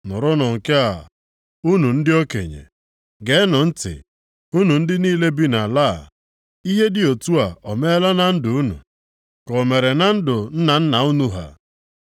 Nụrụnụ nke a, unu ndị okenye; geenụ ntị, unu ndị niile bi nʼala a. Ihe dị otu a o meela na ndụ unu, ka o mere na ndụ nna nna unu ha?